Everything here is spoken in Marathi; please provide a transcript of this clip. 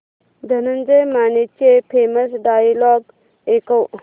धनंजय मानेचे फेमस डायलॉग ऐकव